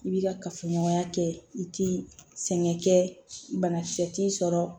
I bi ka kafoɲɔgɔnya kɛ i ti sɛgɛn kɛ banakisɛ t'i sɔrɔ